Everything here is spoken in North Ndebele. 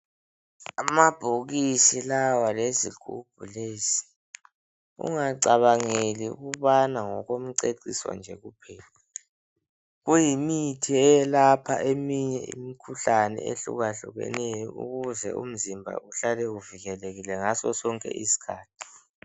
Amabhokisi lawa lezigubhu lezi ungacabangeli ukubana ngokumceciso nje kuphela. Kuyimithi eyelapha eminye imikhuhlane ehlukahlukeneyo ukuze umzimba uhlale uvikelekile ngaso sonke isikhathi.